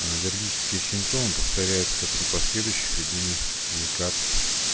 а аллергические симптомы повторяются при последующих введениях лекарств